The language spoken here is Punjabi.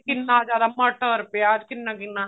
ਕਿੰਨਾ ਜਿਆਦਾ ਮਟਰ ਪਿਆਜ ਕਿੰਨਾ ਕਿੰਨਾ